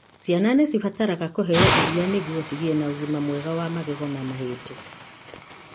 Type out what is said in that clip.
Ciana nĩcibataraga kũheo ĩria nĩguo cigie na ũgima mwega wa magego na mahindi.